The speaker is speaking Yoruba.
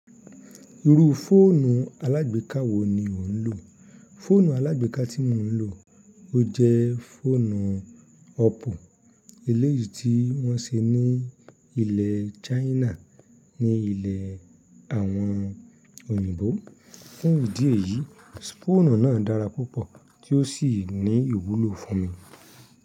Irú fóònù alágbèká wo ni ó ń lò? Fóònù alágbèká tí mò ń lò jẹ́ fóònù ọ́ppo eléèyí tí wọ́n se ní ilẹ̀ China. Ní ilẹ̀ àwọn òyìnbó, fun idí eyí, fóònù náà dára púpọ̀ tí ó sì ní ìwúlò fún mi.